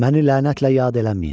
Məni lənətlə yad eləməyin.